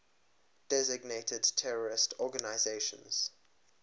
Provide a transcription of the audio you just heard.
designated terrorist organizations